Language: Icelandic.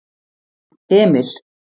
Emil